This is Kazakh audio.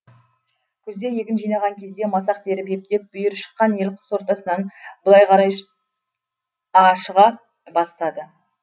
күзде егін жинаған кезде масақ теріп ептеп бүйірі шыққан ел қыс ортасынан былай қарай ашыға бастады